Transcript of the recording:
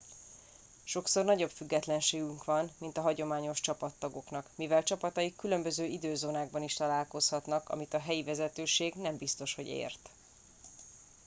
sokszor nagyobb függetlenségük van mint a hagyományos csapattagoknak mivel csapataik különböző időzónákban is találkozhatnak amit a helyi vezetőség nem biztos hogy ért